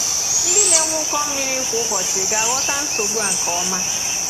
Ndị na-enwe ụkọ mmiri kwa ụbọchị ga-aghọta nsogbu a nke ọma.